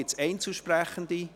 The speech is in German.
Gibt es Einzelsprechende?